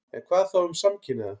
En hvað þá um samkynhneigða?